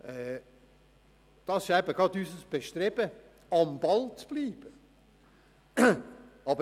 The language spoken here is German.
Unser Bestreben ist es eben gerade, am Ball zu bleiben.